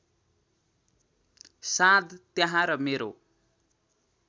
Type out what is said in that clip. साँध त्यहाँ र मेरो